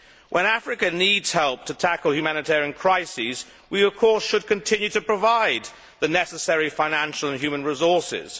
When Africa needs help to tackle humanitarian crises, we of course should continue to provide the necessary financial and human resources.